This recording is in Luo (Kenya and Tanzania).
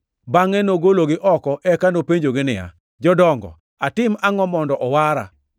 Bangʼe nogologi oko eka openjogi niya, “Jodongo, atim angʼo mondo owara?”